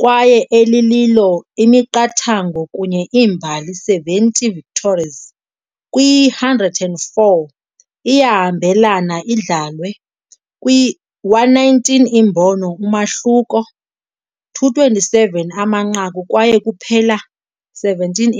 kwaye elililo imiqathango kunye imbali 70 victories kwi-104 iyahambelana idlalwe, kwi119 imbono umahluko, 227 amanqaku kwaye kuphela 17